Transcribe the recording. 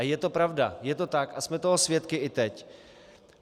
A je to pravda, je to tak a jsme toho svědky i teď.